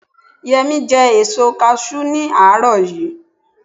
yemi je èso cashew ní àárò yi